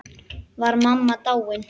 Var mamma dáin?